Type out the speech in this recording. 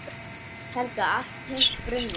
Helga: Allt hitt brunnið?